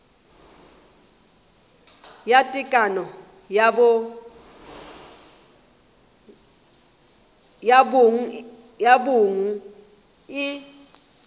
ya tekano ya bong e